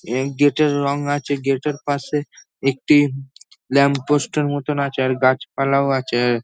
এই গেট - এর রং আছে। গেট - এর পাশে একটি ল্যাম্পপোস্ট - র মতোন আছে। আর গাছপালাও আছে ।